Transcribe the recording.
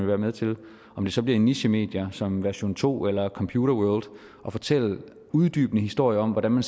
være med til om det så bliver i nichemedier som version2 eller computerworld at fortælle uddybende historier om hvordan man